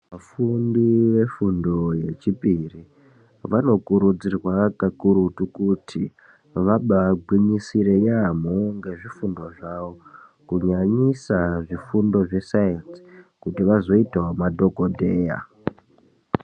Vafundi vefundo yechipiri, vanokurudzirwa kakurutu kuti vabagwinyisire yaamho ngezvifundo zvavo. Kunyanyisa zvifundo zvesaenzi kuti vazoitavo madhogodheya.